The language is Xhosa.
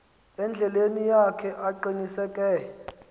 endleleni yakhe aqiniseke